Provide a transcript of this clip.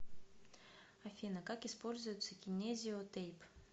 афина как используется кинезио тейп